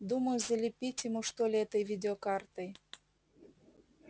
думаю залепить ему что ли этой видеокартой